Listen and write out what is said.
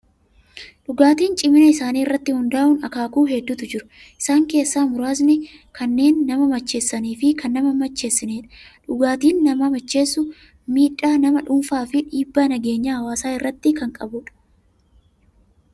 Dhugaatiin cimina isaanii irratti hundaa'uun akaakuu hedduutu jiru. Isaan keessaa muraasni kanneen nama macheessanii fi kanneen nama hin macheessinedha. Dhugaatiin nama macheessu miidhaa nama dhuunfaa fi dhiibbaa nageenyaa hawaasa irratti kan qabudha.